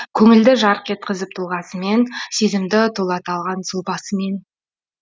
көңілді жарқ еткізіп тұлғасымен сезімді тулата алған сұлбасымен